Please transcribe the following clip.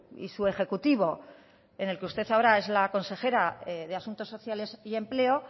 y su ejecutivo en el que usted ahora es la consejera de asuntos sociales y empleo